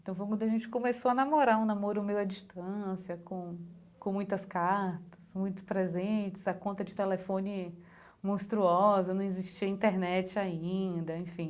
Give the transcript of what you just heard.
Então, foi quando a gente começou a namorar, um namoro meio à distância, com com muitas cartas, muitos presentes, a conta de telefone monstruosa, não existia internet ainda, enfim.